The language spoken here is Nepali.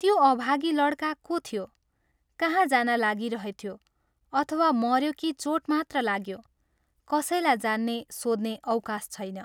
त्यो अभागी लड्का को थियो, कहाँ जान लागिरहेथ्यो अथवा मऱ्यो कि चोट मात्र लाग्यो, कसैलाई जान्ने, सोध्ने अवकाश छैन।